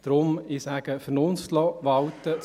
Deshalb möchte ich Vernunft walten lassen.